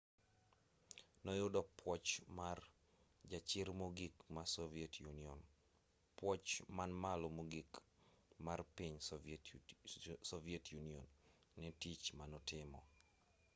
noyudo puoch mar jachir mogik ma soviet union puoch man malo mogik marpiny soviet union netich manotimo